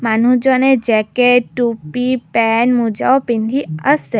মানুহজনে জেকেত টুপী মূজাও পিন্ধি আছে।